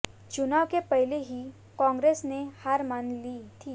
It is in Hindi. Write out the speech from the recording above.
चुनाव के पहले की कांग्रेस ने हार मान ली थी